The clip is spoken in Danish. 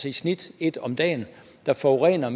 i snit et om dagen der forurener